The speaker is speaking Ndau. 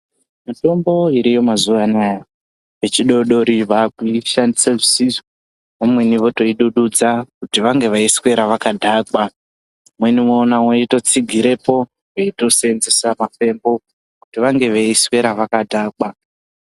Mitombo iriyo mazuwanaya vechidoodori vakuishandise zvisizvo vamweni votoidududza kuti vange veiswera vakadhakwa vamweni woona veitotsigirepo veitoseenzesa mafembo kuti vange veiswera vakadhakwa.